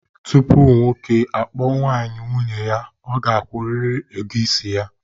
Tupu nwoke akpọọ nwaanyị nwunye ya, ọ ga-akwụrịrị ego isi ya.